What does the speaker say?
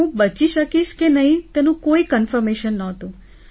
હું બચી શકીશ કે નહીં તેનું કોઈ કન્ફર્મેશન નહોતું